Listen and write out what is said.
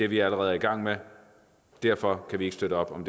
vi allerede i gang med og derfor kan vi ikke støtte op om